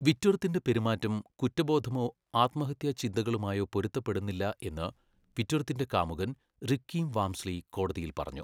വിറ്റ്വർത്തിന്റെ പെരുമാറ്റം കുറ്റബോധമോ ആത്മഹത്യാ ചിന്തകളുമായോ പൊരുത്തപ്പെടുന്നില്ല എന്ന് വിറ്റ്വർത്തിന്റെ കാമുകൻ റിക്കി വാംസ്ലി കോടതിയിൽ പറഞ്ഞു,